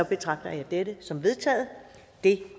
betragter jeg dette som vedtaget det